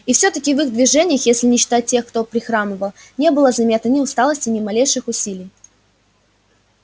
и все таки в их движениях если не считать тех кто прихрамывал не было заметно ни усталости ни малейших усилий